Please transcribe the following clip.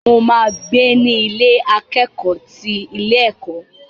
Mo máa gbé ní Ilé akẹ́kọ̀ọ́ ti ilé ẹ̀kọ́.